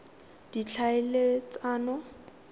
ditlhaeletsano